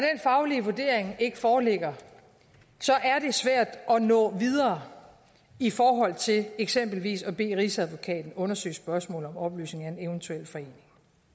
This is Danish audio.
faglige vurdering ikke foreligger er det svært at nå videre i forhold til eksempelvis at bede rigsadvokaten undersøge spørgsmål om opløsning af en eventuel forening